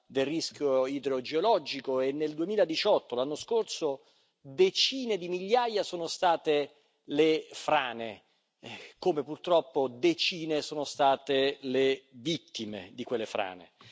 del rischio idrogeologico e nel 2018, l'anno scorso, decine di migliaia sono state le frane, come purtroppo decine sono state le vittime di quelle frane.